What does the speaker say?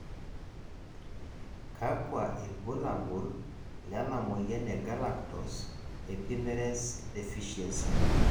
kakua irbulabol lena moyian e Galactose epimerase deficiency?